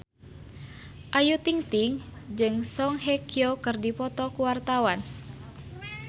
Ayu Ting-ting jeung Song Hye Kyo keur dipoto ku wartawan